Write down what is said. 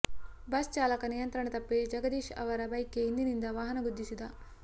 bus ಚಾಲಕ ನಿಯಂತ್ರಣ ತಪ್ಪಿ ಜಗದೀಶ್ ಅವರ ಬೈಕ್ಗೆ ಹಿಂದಿನಿಂದ ವಾಹನ ಗುದ್ದಿಸಿದ